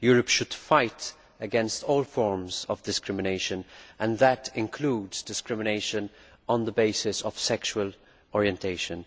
Europe should fight against all forms of discrimination and that includes discrimination on the basis of sexual orientation.